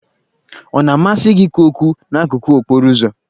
Ọ na-amasị gị ikwu okwu n'akụkụ okporo ụzọ?